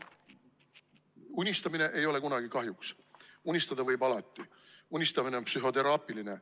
Unistamine ei tule kunagi kahjuks, unistada võib alati, unistamine on psühhoteraapiline.